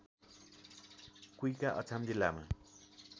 कुइका अछाम जिल्लामा